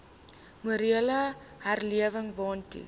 morele herlewing waartoe